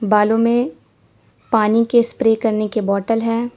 बालों में पानी के स्प्रे करने के बॉटल है।